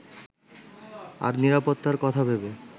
আর নিরাপত্তার কথা ভেবে